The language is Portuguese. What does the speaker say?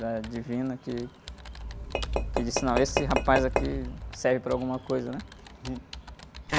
Da divina que, que disse, não, esse rapaz aqui serve para alguma coisa, né?